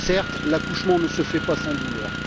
Certes, l'accouchement ne se fait pas sans douleur.